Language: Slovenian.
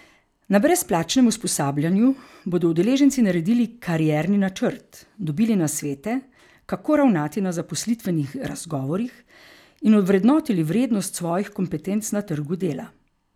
Na brezplačnem usposabljanju bodo udeleženci naredili karierni načrt, dobili nasvete, kako ravnati na zaposlitvenih razgovorih in ovrednotili vrednost svojih kompetenc na trgu dela.